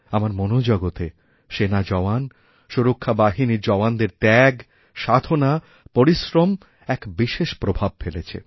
আমারমনোজগতে সেনা জওয়ান সুরক্ষা বাহিনীর জওয়ানদের ত্যাগ সাধনা পরিশ্রম এক বিশেষপ্রভাব ফেলেছে